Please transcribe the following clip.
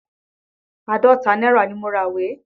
Àádọ́ta náírà ni mo ra ìwé.